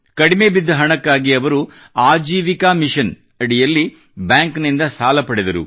ಕಡಿಮೆ ಬಿದ್ದ ಹಣಕ್ಕಾಗಿ ಅವರು ಆಜೀವಿಕಾ ಮಿಷನ್ʼ ಅಡಿಯಲ್ಲಿ ಬ್ಯಾಂಕ್ ನಿಂದ ಸಾಲ ಪಡೆದರು